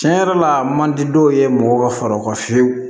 Tiɲɛ yɛrɛ la a man di dɔw ye mɔgɔw ka fara o kan fiyewu